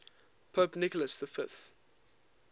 pope nicholas v